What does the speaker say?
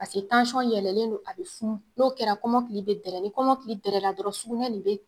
a bɛ funu n'o kɛra kɛra kɔmɔkili bɛ dɛrɛ ni kɔmɔkili drɛrɛna dɔrɔn sukunɛ nin bɛ.